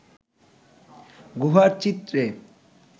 গুহা চিত্রে